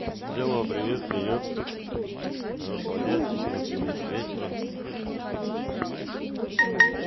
взяло привет привет хорошего дня отличного тебе вечера